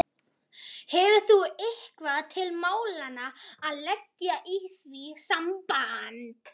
Hefur þú eitthvað til málanna að leggja í því sambandi?